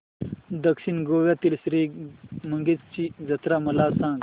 दक्षिण गोव्यातील श्री मंगेशाची जत्रा मला सांग